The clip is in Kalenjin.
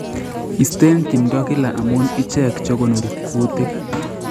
Isten timdo kila amun ichek chekonori kutik